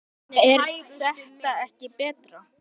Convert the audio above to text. er þetta ekki betra?